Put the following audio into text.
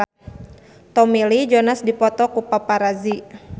Tommy Lee Jones dipoto ku paparazi